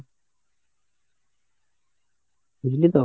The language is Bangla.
বুঝলি তো?